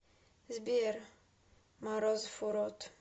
сбер морозов урод